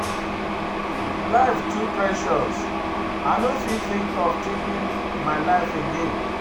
Life too precious, I no fit think of taking my life again.